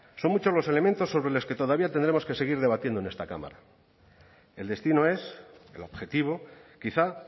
son muchos los elementos sobre los que todavía tendremos que seguir debatiendo en esta cámara el destino es el objetivo quizá